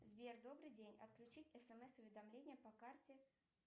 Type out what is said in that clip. сбер добрый день отключить смс уведомления по карте